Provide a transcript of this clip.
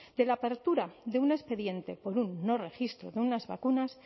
de la apertura de un expediente por un no registro de unas vacunas